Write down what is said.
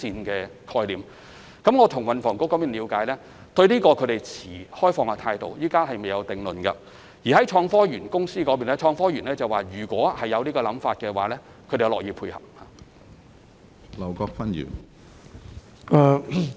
我曾為此向運房局了解，他們對這個想法持開放態度，暫時未有定論；創科園公司亦表示，當局日後如有這種想法，他們樂意配合。